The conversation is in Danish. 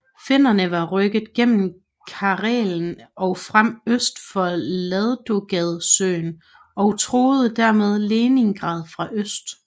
Finnerne var rykket gennem Karelen og frem øst for Ladoga søen og truede dermed Leningrad fra øst